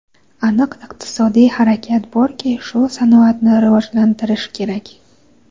Aniq iqtisodiy harakat borki, shu sanoatni rivojlantirish kerak”.